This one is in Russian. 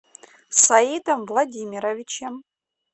саидом владимировичем